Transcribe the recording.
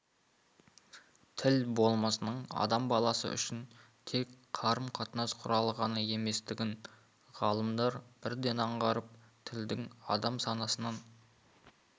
тіл болмысының адам баласы үшін тек қарым-қатынас құралы ғана еместігін ғалымдар бірден аңғарып тілдің адам санасынан